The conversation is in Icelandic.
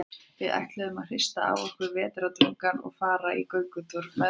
Við ætluðum að hrista af okkur vetrardrungann og fara í göngutúr meðfram vatninu.